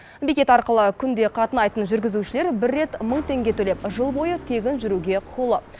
бекет арқылы күнде қатынайтын жүргізушілер бір рет мың теңге төлеп жыл бойы тегін жүруге құқылы